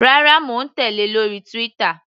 Rárá, mò ń tèlé lórí Twitter.